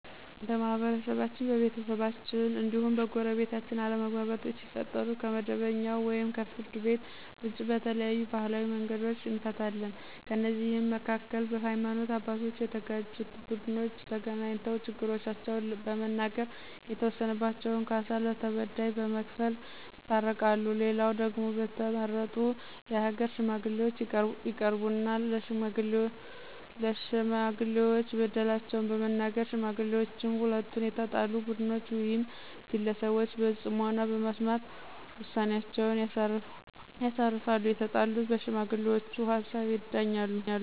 በማህበረሰባችን፣ በቤተሰባችን እንዲሁም በጎረቤታችን አለመግባባቶች ሲፈጠሩ ከመደበኛው ወይም ከፍርድ ቤት ውጭ በተለያዩ ባህላዊ መንገዶች እንፈታለን። ከእነዚህም መካከል በሀይማኖት አባቶች የተጋጩት ቡድኖች ተገናኝተው ችግሮቻቸውን በመናገር የተወሰነባቸውን ካሳ ለተበዳይ በመክፈል ይታረቃሉ፣ ሌላው ደግሞ በተመረጡ የሀገር ሽማግሌዎች ይቀርቡና ለሽማጥሌዎች በደላቸውን በመናገር ሽማግሌዎችም ሁለቱንም የተጣሉ ቡድኖች ውይም ግለሰቦች በጽሞና በመስማት ውሳኔአቸውን ያሳርፋሉ፤ የተጣሉትም በሽማግሌውቹ ሀሳብ ይዳኛሉ።